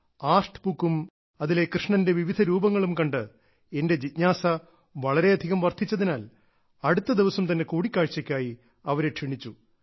art ബുക്കും അതിലെ കൃഷ്ണന്റെ വിവിധ രൂപങ്ങളും കണ്ട് എന്റെ ജിജ്ഞാസ വളരെയധികം വർദ്ധിച്ചതിനാൽ അടുത്തദിവസം തന്നെ കൂടിക്കാഴ്ചയ്ക്കായി അവരെ ക്ഷണിച്ചു